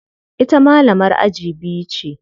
Ita malamar aji biyu ce.